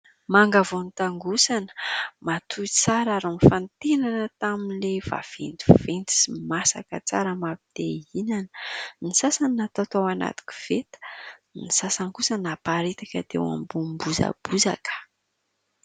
Manga vao notangosana, matoy tsara ary nofantenana tamin'ilay vaventiventy sy masaka tsara mapite hihinana ; ny sasany natao tao anaty koveta ; ny sasany kosa naparitaka teo ambony bozabozaka.